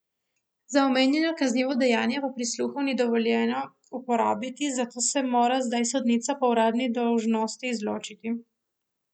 Za omenjeno kaznivo dejanje pa prisluhov ni dovoljeno uporabiti, zato se mora zdaj sodnica po uradni dolžnosti izločiti.